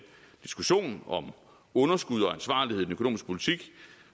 diskussion om underskud og ansvarlighed i økonomiske politik